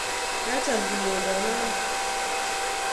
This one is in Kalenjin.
Kacham kinyondon non